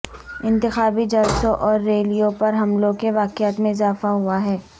انتخابی جلسوں اور ریلیوں پر حملوں کے واقعات میں اضافہ ہوا ہے